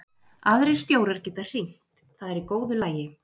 Aðrir stjórar geta hringt, það er í góðu lagi.